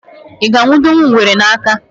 I ga-anwụdenwu ngwere n'aka